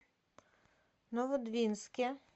новодвинске